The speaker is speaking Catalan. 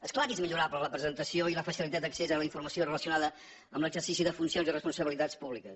és clar que és millorable la presentació i la facilitat d’accés a la informació relacionada amb l’exercici de funcions i responsabilitats públiques